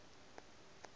le be le nweng go